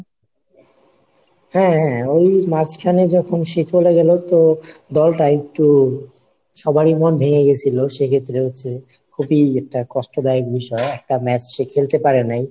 হ্যাঁ হ্যাঁ ওই মাঝখানে যখন সে চলে গেলো তো দলটা একটু সবারই মন ভেঙে গেছিলো, সেক্ষেত্রে হচ্ছে খুবই একটা কষ্টদায়ক বিষয় একটা match সে খেলতে পারে নাই.